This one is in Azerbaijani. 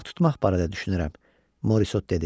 Balıq tutmaq barədə düşünürəm, Morisot dedi.